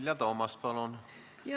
Vilja Toomast, palun!